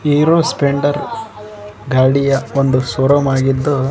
hero Splendor ಗಾಡಿಯ ಒಂದು showroom ಆಗಿದ್ದು--